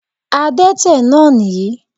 Adẹ́tẹ̀ náà nìyí